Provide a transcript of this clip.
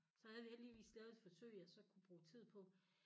Så havde vi heldigvis lavet et forsøg jeg så kunne bruge tid på